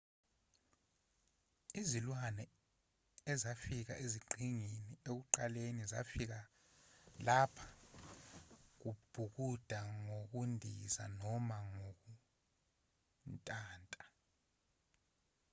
izilwane ezafika eziqhingini ekuqaleni zafika lapha ngokubhukuda ngokundiza noma ngokuntanta